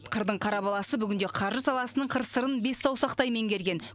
қырдың қара баласы бүгінде қаржы саласының қыр сырын бес саусақтай меңгерген